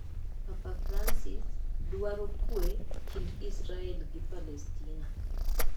Papa Francis: Dwaro kwee kind Israel gi Palestina